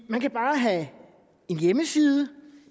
man kan bare have en hjemmeside